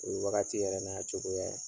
O ye wagati yɛrɛ n'a cogoya ye.